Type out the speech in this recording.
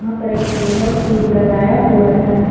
यहां पर एक टेबल भी लगाया हुआ है।